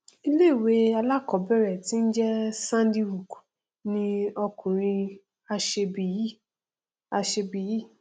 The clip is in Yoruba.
ìléìwé alákọọbẹrẹ tí n jẹ sandy hook ni ọkùnrin aṣebi yìí aṣebi yìí